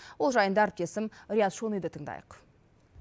ол жайында әріптесім риат шониды тыңдайық